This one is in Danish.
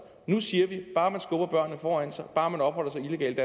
nu siger vi bare man skubber børnene foran sig bare man opholder sig illegalt